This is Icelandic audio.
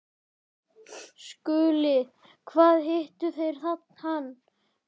SKÚLI: Hvar hittuð þér hann?